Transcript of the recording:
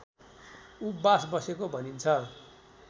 उपवास बसेको भनिन्छ